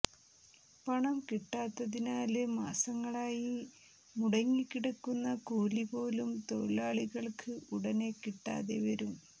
പണം കിട്ടാത്തതിനാല് മാസങ്ങളായി മുടങ്ങിക്കിടക്കുന്ന കൂലിപോലും തൊഴിലാളികള്ക്ക് ഉടനെ കിട്ടാതെ വരും